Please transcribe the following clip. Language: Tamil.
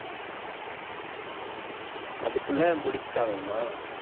அதுக்குள்ள முடிச்சாகணுமா